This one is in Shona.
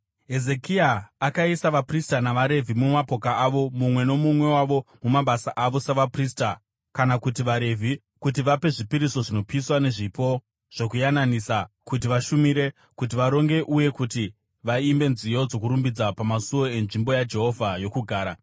Hezekia akaisa vaprista navaRevhi mumapoka avo mumwe nomumwe wavo mumabasa avo savaprista kana kuti vaRevhi kuti vape zvipiriso zvinopiswa nezvipo zvokuyananisa kuti vashumire, kuti varonge uye kuti vaimbe nziyo dzokurumbidza pamasuo enzvimbo yaJehovha yokugara.